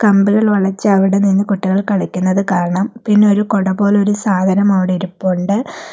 കമ്പികൾ വളച്ച് അവിടെ നിന്ന് കുട്ടികൾ കളിക്കുന്നത് കാണാം പിന്നെ ഒരു കുട പോലെ ഒരു സാധനം അവിടെ ഇരിപ്പുണ്ട്.